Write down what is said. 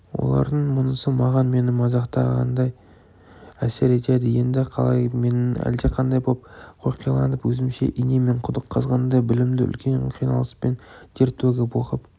олардың мұнысы маған мені мазақтағандай әсер етеді енді қалай менің әлдеқандай боп қоқиланып өзімше инемен құдық қазғандай білімді үлкен қиналыспен тер төгіп оқып